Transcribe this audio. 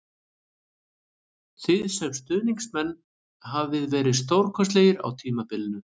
Þið sem stuðningsmenn hafið verið stórkostlegir á tímabilinu